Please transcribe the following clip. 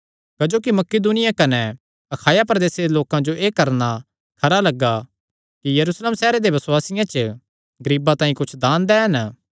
क्जोकि मकिदुनिया कने अखाया प्रदेसे दे लोकां जो एह़ करणा खरा लग्गा कि यरूशलेम सैहरे दे बसुआसियां च गरीबां तांई कुच्छ दान दैन